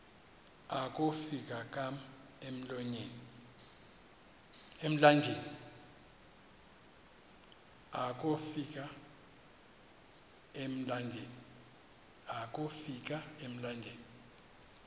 akofi ka emlanjeni